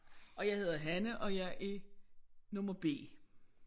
Og jeg hedder Hanne og jeg er nummer B